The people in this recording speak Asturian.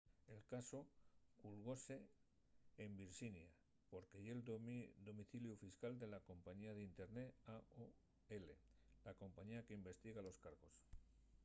el casu xulgóse en virxinia porque ye’l domiciliu fiscal de la compañía d’internet aol la compañía qu’investiga los cargos